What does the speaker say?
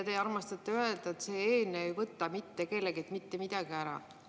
Te armastate öelda, et see eelnõu ei võta mitte kelleltki mitte midagi ära.